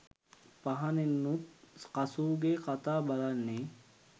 පහනෙනුත් කසූගේ කතා බලන්නේ.